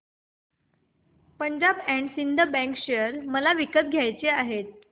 Punjab and Sind bank share मला विकत घ्यायचे आहेत